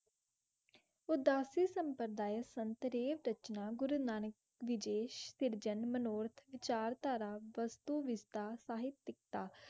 उदासी गुरो नानक विजेश तरजामनाईठ विजेश तरजाईश पिट्स